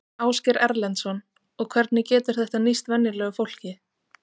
Ásgeir Erlendsson: Og hvernig getur þetta nýst venjulegu fólki?